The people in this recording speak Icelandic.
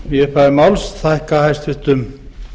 í upphafi máls þakka hæstvirtum